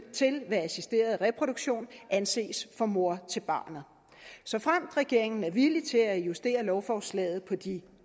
ved assisteret reproduktion anses for mor til barnet såfremt regeringen er villig til at justere lovforslaget på de